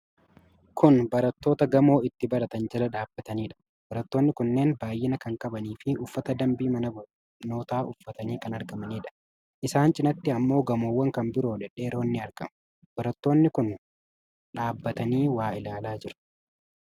Kun barattoota gamoo itti baratan jala dhaabataniidha. Barattoonni kunneen baay'ina kan qabanii fi uffata dambii mana barnootaa uffatanii kan argamaniidha. Isaan cinaatti ammoo gamowwan kan biroo dhedheeroon ni argamu. Barattoonni kun dhaabatanii waa ilaalaa jiru.